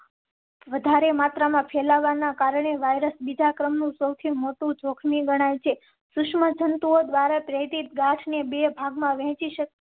વધારે માત્રામાં ફેલાવા ના કારણે વાયરસ બીજા ક્રમ નું સૌથી મોટું જોખમી ગણાય છે. સુષ્મા જંતુઓ દ્વારા પ્રેરિત ગાંઠને બે ભાગ માં વહેંચી.